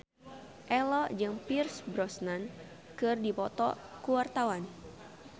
Ello jeung Pierce Brosnan keur dipoto ku wartawan